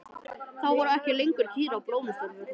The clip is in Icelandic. Þá voru ekki lengur kýr á Blómsturvöllum.